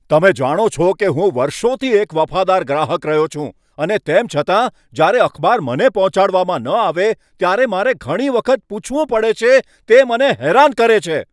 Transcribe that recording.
તમે જાણો છો કે હું વર્ષોથી એક વફાદાર ગ્રાહક રહ્યો છું, અને તેમ છતાં જ્યારે અખબાર મને પહોંચાડવામાં ન આવે ત્યારે મારે ઘણી વખત પૂછવું પડે છે. તે મને હેરાન કરે છે.